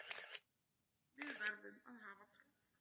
Við verðum að hafa trúna